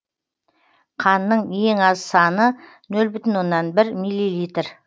қанның ең аз саны нөл бүтін оннан бір миллилитр